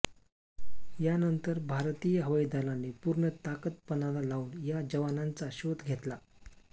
यानंतर भारतीय हवाई दलाने पूर्ण ताकद पणाला लावून या जवानांचा शोध घेतला